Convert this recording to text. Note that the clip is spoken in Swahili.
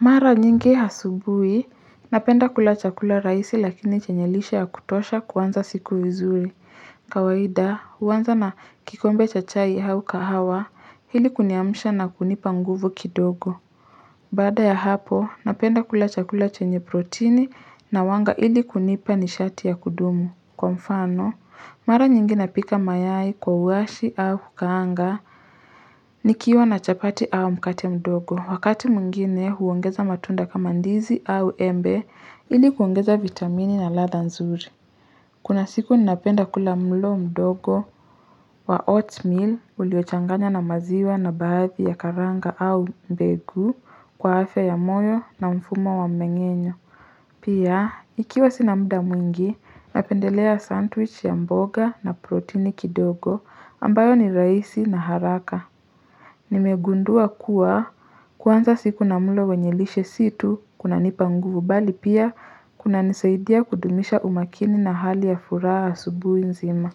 Mara nyingi asubuhi, napenda kula chakula rahisi lakini chenye lishe ya kutosha kuanza siku vizuri. Kawaida, huanza na kikombe cha chai au kahawa, ili kuniamsha na kunipa nguvu kidogo. Baada ya hapo, napenda kula chakula chenye protini na wanga ili kunipa ni shati ya kudumu. Kwa mfano, mara nyingi napika mayai kwa uwashi au kukaanga. Nikiwa na chapati au mkate mdogo, wakati mwingine huongeza matunda kama ndizi au embe ili kuongeza vitamini na ladha nzuri. Kuna siku ninapenda kula mlo mdogo wa oatmeal uliochanganywa na maziwa na baadhi ya karanga au mbegu kwa afya ya moyo na mfumo wa mmengenyo. Pia, ikiwa sina muda mwingi, napendelea sandwich ya mboga na protini kidogo ambayo ni raisi na haraka. Nimegundua kuwa kuanza siku na mlo wenye lishe si tu kunanipa nguvu bali pia kuna nisaidia kudumisha umakini na hali ya furaha asubuhi nzima.